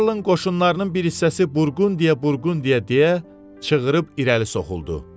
Karlın qoşunlarının bir hissəsi Burqundiya, Burqundiya deyə çığırıb irəli soxuldu.